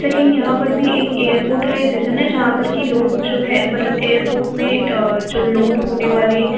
लेकिन यहाँ पर भी एक एयरपोर्ट का ही विज़न हैं जहां पर की लोग जो है मतलब एयरपोर्ट में अ जो लोड होने वाले --